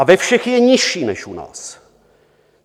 A ve všech je nižší než u nás.